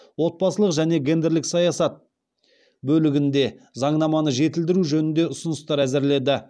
отбасылық және гендерлік саясат бөлігінде заңнаманы жетілдіру жөнінде ұсыныстар әзірледі